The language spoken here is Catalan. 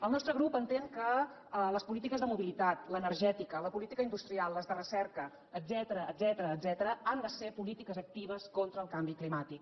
el nostre grup entén que les polítiques de mobilitat l’energètica la política industrial les de recerca etcètera han de ser polítiques actives contra el canvi climàtic